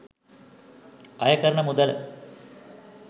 අයකරන මුදල